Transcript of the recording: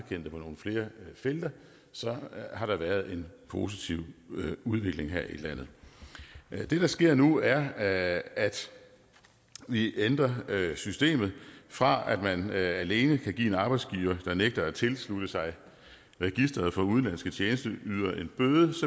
det på nogle flere felter så har der været en positiv udvikling her i landet det der sker nu er at vi ændrer systemet fra at man alene kan give en arbejdsgiver der nægter at tilslutte sig registret for udenlandske tjenesteydere en bøde